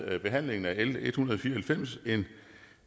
behandlingen af l en hundrede og fire og halvfems en